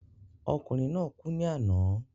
Ọkùnrin naa kú ní àná